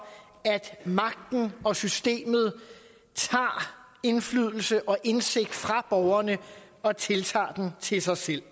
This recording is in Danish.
at magten og systemet tager indflydelse og indsigt fra borgerne og tiltager den til sig selv